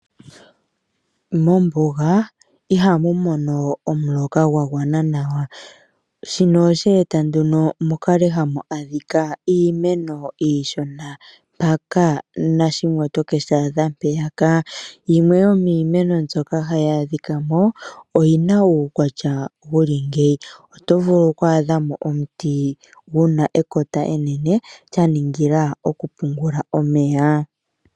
Mombuga ihamu mono omuloka gwa gwana nawa, shino oshe e ta nduno mu kale hamu adhika iimeno iishona mpaka nashimwe oto ke shi adha mpeyaka. Yimwe yomiimeno mbyoka hayi adhika mo, oyina uukwatya wuli ngeyi, oto vulu oku adha mo omuti guna ekota enene lya ningila okupungula omeya.